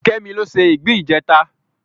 Kemi ló se ìgbín ìjẹta